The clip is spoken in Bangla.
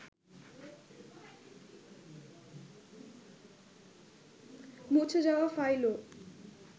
মুছে যাওয়া ফাইলও